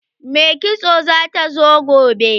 Mai kitson za ta zo gobe.